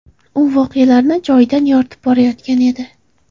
U voqealarni joyidan yoritib borayotgan edi.